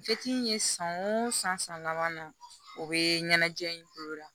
in ye san o san san laban na o bɛ ɲɛnajɛ in bolo la